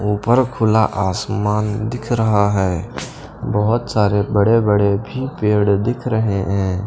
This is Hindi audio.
ऊपर खुला आसमान दिख रहा है बहुत सारे बड़े-बड़े भी पेड़ दिख रहे हैं।